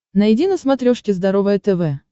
найди на смотрешке здоровое тв